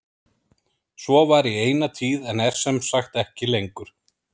Svo var í eina tíð en er sem sagt ekki lengur.